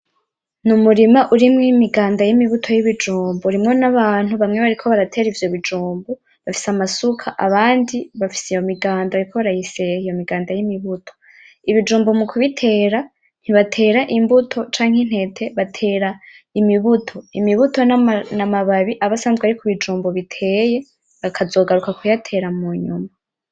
Ni umurima urimwo imiganda y'imibuto y'ibijumbu, urimwo n'abantu bamwe bariko baratera ivyo bijumbu bafise amasuka abandi bafise iyo miganda bariko barayiseha iyo miganda y'imibuto. Ibijumbu mukubitera ntibatera imbuto, canke intete batera imibuto, imibuto n'amababi aba asanzwe ari kubijumbu biteye bakazogaruka kuyatera munyuma.